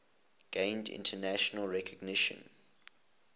gained international recognition